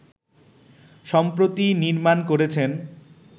সম্প্রতি নির্মাণ করেছেন